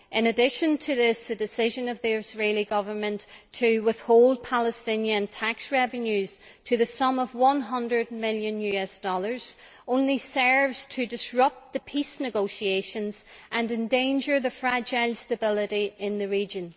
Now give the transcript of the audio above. In addition to this, the decision of the Israeli Government to withhold Palestinian tax revenues to the sum of USD 100 million only serves to disrupt the peace negotiations and endanger the fragile stability of the region.